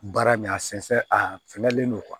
Baara min a sɛnsɛn a finɛlen don